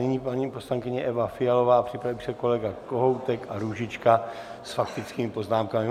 Nyní paní poslankyně Eva Fialová, připraví se kolega Kohoutek a Růžička s faktickými poznámkami.